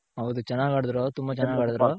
ಹೌದು ಚೆನಾಗ್ ಆಡುದ್ರು ತುಂಬ ಚೆನಾಗ್ ಆಡದ್ರು.